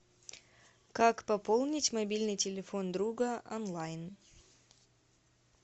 как пополнить мобильный телефон друга онлайн